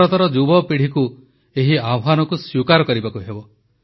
ଭାରତର ଯୁବପିଢ଼ିକୁ ଏହି ଆହ୍ୱାନକୁ ସ୍ୱୀକାର କରିବାକୁ ହେବ